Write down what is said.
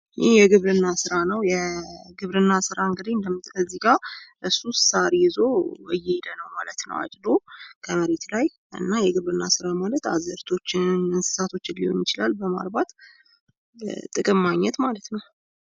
ይህ የግብርና ስራ ነው። ሰውየው አዝርት ተሸክሙ ኤየሄደ ይታየናል። የግብርና ሰራ አንሳቶችን በማርባት ጥቅም ማግኘት ማለት ነው።